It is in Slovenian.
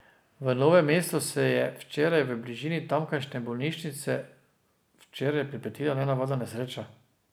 V Novem mestu se je včeraj v bližini tamkajšnje bolnišnice včeraj pripetila nenavadna nesreča.